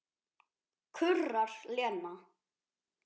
kurrar Lena.